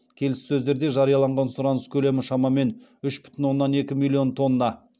келіссөздерде жарияланған сұраныс көлемі шамамен үш бүтін оннан екі миллион тонна